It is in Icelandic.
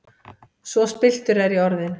Svo spilltur er ég orðinn!